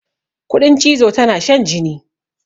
Kuɗin cizo tana shan jini.